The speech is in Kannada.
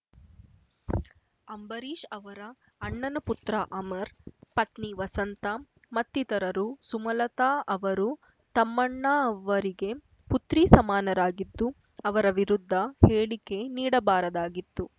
ಅಂಬರೀಷ್ ಅವರ ಅಣ್ಣನ ಪುತ್ರ ಅಮರ್ ಪತ್ನಿ ವಸಂತ ಮತ್ತಿತರರು ಸುಮಲತಾ ಅವರು ತಮ್ಮಣ್ಣ ಅವರಿಗೆ ಪುತ್ರಿ ಸಮಾನರಾಗಿದ್ದು ಅವರ ವಿರುದ್ಧ ಹೇಳಿಕೆ ನೀಡಬಾರದಾಗಿತ್ತು